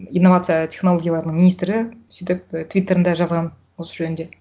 инновация технологияларының министрі сөйтіп твиттерында жазған осы жөнінде